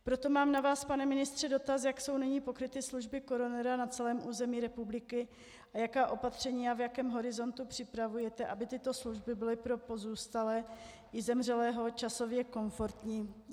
Proto mám na vás, pane ministře, dotaz, jak jsou nyní pokryty služby koronera na celém území republiky a jaká opatření a v jakém horizontu připravujete, aby tyto služby byly pro pozůstalé i zemřelého časově komfortní.